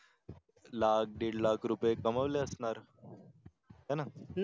लाख दिढ लाख रुपये कमावले असणार हाय ना